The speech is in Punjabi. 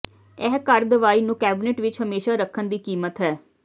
ਇਹ ਘਰ ਦਵਾਈ ਨੂੰ ਕੈਬਨਿਟ ਵਿੱਚ ਹਮੇਸ਼ਾ ਰੱਖਣ ਦੀ ਕੀਮਤ ਹੈ